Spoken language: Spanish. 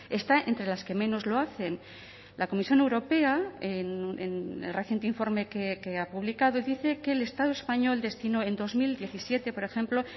está entre las que menos lo hacen la comisión europea en el reciente informe que ha publicado dice que el estado español destinó en dos mil diecisiete por ejemplo